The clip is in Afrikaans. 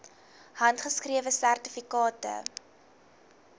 handgeskrewe sertifikate